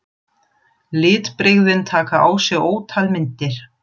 Litbrigðin taka á sig ótal myndir.